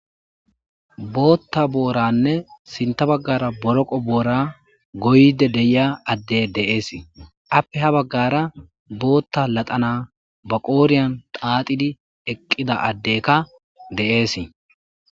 Bootha booranne sintha baggaara boroqo boora gooyde de'iya adde de'ees, appe ha baggaara bootha l naththala ba qooriyan thaathidi eqqida addeka de'ees.